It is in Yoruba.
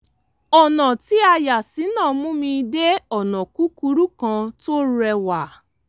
ọ̀nà tí a yà sí náà mú mi dé ọ̀nà kúkúrú kan tó rẹ́wà